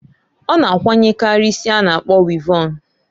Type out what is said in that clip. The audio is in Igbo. Ọ na akwanyekari isi a na- akpọ wịvọn.